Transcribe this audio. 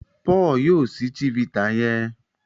Paul yíò síi chivita yen.